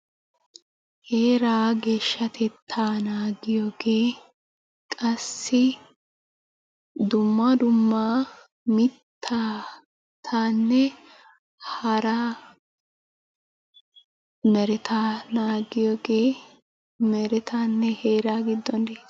Heeraa geeshshatettaa naagiyoogee qassi dumma dumma mittaanne haraa merettaa naagiyoogee merettanne heeraa giidon ge'iyaagaa.